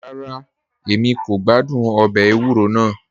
Rárá, Èmi kò gbàdún òbè èwúrọ̀ náà